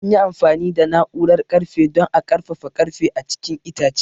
An yi amfani da na'urar ƙarfe don a ƙarfafa ƙarfe a cikin itace.